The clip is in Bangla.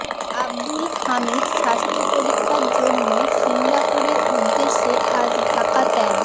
আবদুল হামিদ স্বাস্থ্য পরীক্ষার জন্য সিঙ্গাপুরের উদ্দেশে আজ ঢাকা ত্যাগ